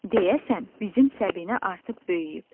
“Deyəsən, bizim Səbinə artıq böyüyüb.”